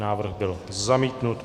Návrh byl zamítnut.